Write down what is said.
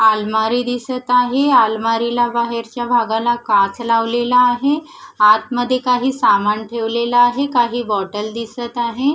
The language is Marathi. आलमारी दिसत आहे आलमारीला बाहेरच्या भागाला काच लावलेला आहे आतमध्ये काही सामान ठेवलेलं आहे काही बॉटल दिसत आहे.